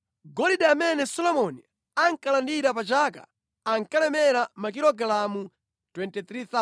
Golide amene Solomoni ankalandira pa chaka ankalemera makilogalamu 23,000,